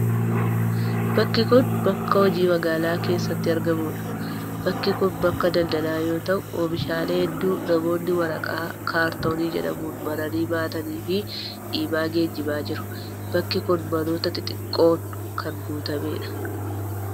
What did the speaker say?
Bakki kun ,bakka hojii magaalaa keessatti argamuu dha. Bakki kun, bakka daldalaa yoo ta'u, oomishaalee hedduu namoonni waraqaa' kaartonii' jedhamuun maranii baatanii fi dhiibaa geejibaa jiru. Bakki kun manoota xixiqqoon kan guutamee dha.